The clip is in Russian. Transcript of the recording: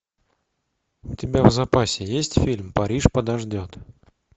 у тебя в запасе есть фильм париж подождет